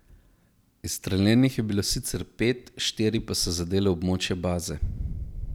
Izstreljenih je bilo sicer pet, štiri so zadele območje baze.